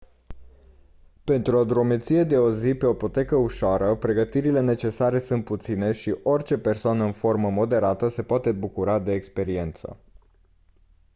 pentru o drumeție de o zi pe o potecă ușoară pregătirile necesare sunt puține și orice persoană în formă moderată se poate bucura de experiență